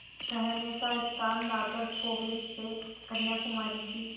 ठहरने का स्थान नागरकोविल से कन्याकुमारी की